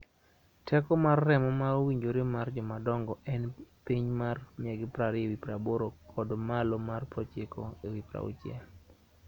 teko mar remo ma owinjore mar jomadongo en piny mar 120/80 kod malo mar 90/60